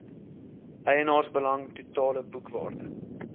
eienaarsbelang totale boekwaarde